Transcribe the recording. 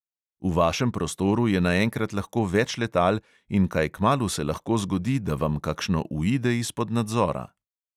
V vašem prostoru je naenkrat lahko več letal in kaj kmalu se lahko zgodi, da vam kakšno uide izpod nadzora.